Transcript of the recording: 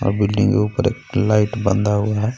अ building के ऊपर light बंधा हुआ है.